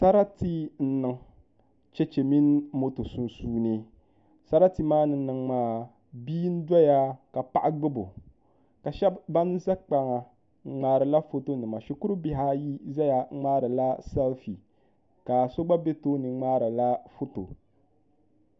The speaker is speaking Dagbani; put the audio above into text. Sarati n niŋ chɛchɛ mini moto sunsuuni sarati maa ni niŋ maa bia n doya ka paɣa gbubo ka shab ban ƶɛ kpaŋa ŋmaarila foto nima shikuru bihi ayi ʒɛ tooni n ŋmaarila sɛlfi ka so gba ƶɛya n ŋmaariba foto